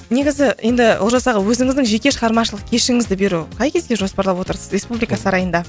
негізі енді олжас аға өзіңіздің жеке шығармашылық кешіңізді беру қай кезге жоспарлап отырсыз республика сарайында